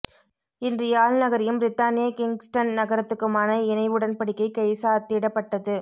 இன்று யாழ் நகரையும் பிரித்தானிய கின்க்ஸ்டன் நகரத்துக்குமான இணை உடன்படிக்கை கைசாத்திடப்பட்டது